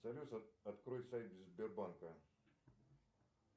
салют открой сайт сбербанка